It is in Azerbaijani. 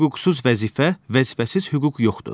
Hüquqsuz vəzifə, vəzifəsiz hüquq yoxdur.